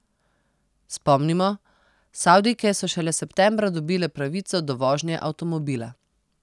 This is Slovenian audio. Spomnimo, Savdijke so šele septembra dobile pravico do vožnje avtomobila.